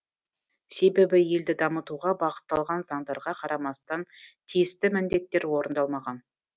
себебі елді дамытуға бағытталған заңдарға қарамастан тиісті міндеттер орындалмаған